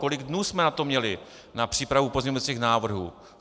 Kolik dnů jsme na to měli, na přípravu pozměňovacích návrhů?